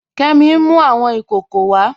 Kẹmì n mú awọn ikòkò wà.